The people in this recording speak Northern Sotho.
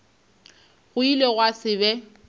go ile gwa se be